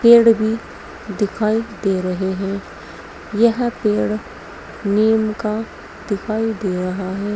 पेड़ भी दिखाई दे रहे हैं यह पेड़ नीम का दिखाई दे रहा है।